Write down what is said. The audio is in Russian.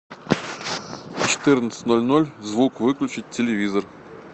в четырнадцать ноль ноль звук выключить телевизор